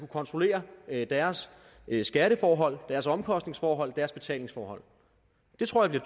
kontrollere deres skatteforhold deres omkostningsforhold deres betalingsforhold det tror jeg